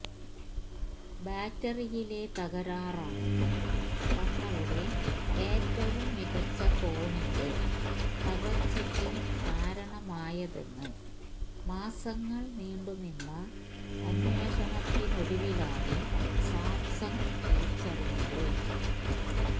ബാറ്ററിയിലെ തകരാറാണ് തങ്ങളുടെ ഏറ്റവും മികച്ച ഫോണിന്റെ തകര്ച്ചയ്ക്ക് കാരണമായതെന്ന് മാസങ്ങള് നീണ്ടുനിന്ന അന്വേഷണത്തിനൊടുവിലാണ് സാംസങ്ങ് തിരിച്ചറിഞ്ഞത്